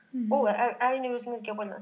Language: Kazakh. мхм ол әрине өзіңізге байланысты